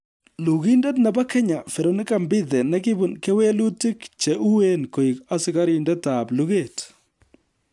Lugindet nebo Kenya, Veronica Mbithe ne kibun kewelutik che uen koik asikarindetab luget